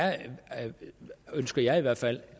ønsker jeg i hvert fald